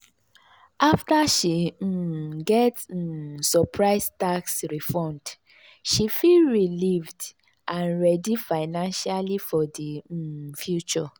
afta she um get um surprise tax refund she feel relieved and ready financially for di um future.